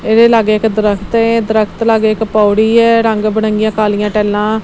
ਇਹਦੇ ਲਾਗੇ ਇੱਕ ਦਰਖਤ ਏ ਦਰਖਤ ਲਾਗੇ ਇੱਕ ਪੌੜੀ ਏ ਰੰਗ ਬੜੰਗੀਆਂ ਕਾਲੀਆਂ ਟੈਲਾਂ --